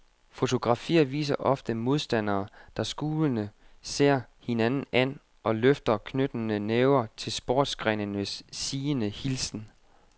Fotografier viser ofte modstandere, der skulende ser hinanden an og løfter knyttede næver til sportsgrenens sigende hilsen.